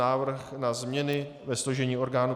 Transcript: Návrh na změny ve složení orgánů